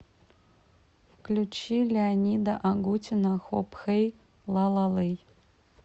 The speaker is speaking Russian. включи леонида агутина хоп хэй лала лэй